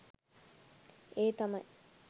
ඒ තමයි